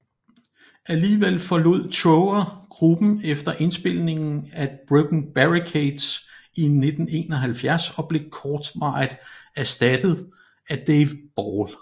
Alligevel forlod Trower gruppen efter indspilningen af Broken Barricades i 1971 og blev kortvarigt ersattet af Dave Ball